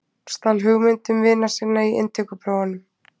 Stal hugmyndum vina sinna í inntökuprófunum